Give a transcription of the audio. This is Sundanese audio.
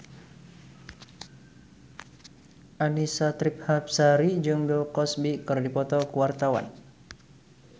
Annisa Trihapsari jeung Bill Cosby keur dipoto ku wartawan